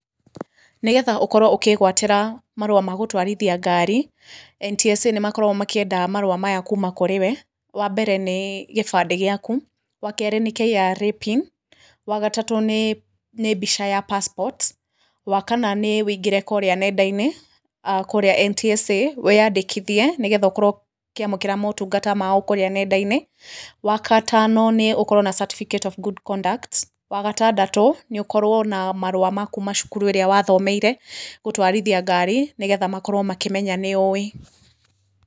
Nĩgetha ũkorwo ũkĩgwatĩra marũa ma gũtwarithia ngari, NTSA nĩ makoragwo makĩenda marũa maya kuuma kũrĩ we, wa mbere nĩ gĩbandĩ gĩaku, wa kerĩ nĩ KRA PIN, wa gatatũ nĩ mbica ya passport, wa kana nĩ wĩingĩre kũrĩa nenda-inĩ, kũrĩa NTSA, wĩyandĩkithie, nĩgetha ũkorwo ũkĩamũkĩra motungata mao kũrĩa nenda-inĩ, wagatano, nĩ ukorwo na certificate of good conduct, wa gatandatũ, nĩ ũkorwo na marũa ma kuuma cukuru ĩrĩa wathomeire gũtũarithia ngari, nĩgetha makorwo akĩmenya nĩũwĩ.